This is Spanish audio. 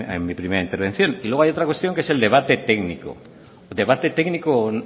en mi primera intervención y luego hay otra cuestión que es el debate técnico un debate técnico